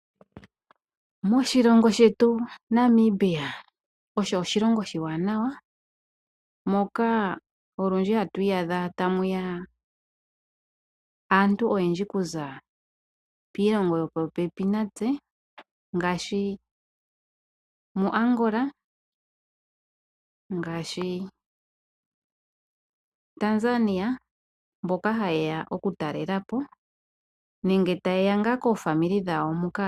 Moshilongo shetu Namibia osho oshilongo oshiwanawa, moka olundji hatu iyadha tamu ya aantu oyendji kuza piilongo yopopepi natse ngaashi moAngola, ngaashi Tanzania mboka haye ya okutalela po nenge taye ya ngaa kaakwanezimo yawo muka.